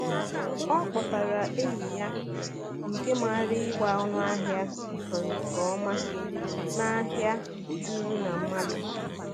O kpọtara enyi ya nke maara ịgba ọnụahịa nke nke ọma n’ahịa juru na mmadụ.